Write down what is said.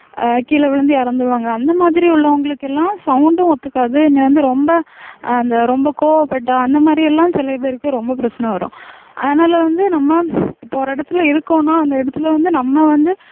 அஹ் கீழே விழுந்து இறந்துருவாங்க அந்த மாதிரி உள்ளவங்களுக்கு எல்லாம் sound ம் ஒத்துக்காது வந்து ரொம்ப அந்த ரொம்ப கோவப்பட்டா அந்த மாதிரி எல்லாம் சில பேருக்கு ரொம்ப பிரச்சனை வரும் அதனால வந்து நம்ம இப்ப ஒரு இடத்துல இருக்கோம்ன்னா அந்த இடத்துல வந்து நம்ம வந்து